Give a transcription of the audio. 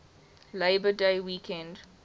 labor day weekend